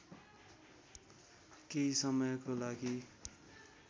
केही समयको लागि